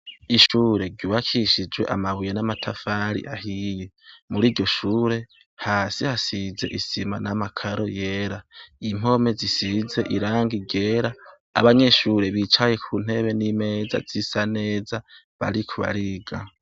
Ishure ryubakishijwe amabuye n'amatafari ahiye. Muri iryo shure hasi hasize isima n'amakaro yera. Impome zisize irangi ryera, abanyeshure bicaye ku ntebe n'imeza zisa neza, bariko bariga.